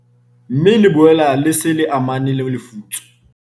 Mme le boela le sa amane le lefutso."